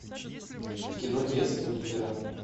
кино детство лидера